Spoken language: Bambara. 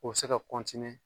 O bi se ka